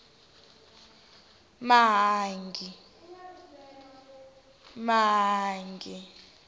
mahangi